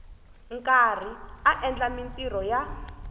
karhi a endla mintirho ya